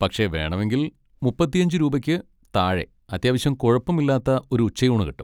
പക്ഷെ വേണമെങ്കിൽ മുപ്പത്തിയഞ്ച് രൂപയ്ക്ക് താഴെ അത്യാവശ്യം കുഴപ്പമില്ലാത്ത ഒരു ഉച്ചയൂണ് കിട്ടും.